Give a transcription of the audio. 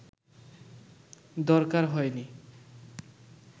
দরকার হয়নি